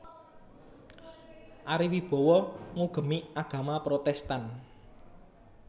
Ari Wibowo ngugemi agama Protèstan